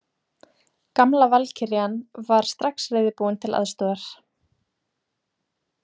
Gamla valkyrjan var strax reiðubúin til aðstoðar.